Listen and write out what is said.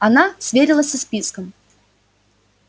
она сверилась со списком